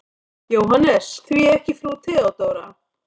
JÓHANNES: Því ekki frú Theodóra?